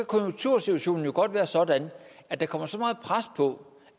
konjunktursituationen godt være sådan at der kommer så meget pres på